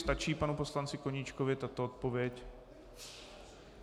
Stačí panu poslanci Koníčkovi tato odpověď?